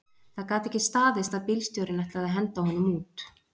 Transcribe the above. Það gat ekki staðist að bílstjórinn ætlaði að henda honum út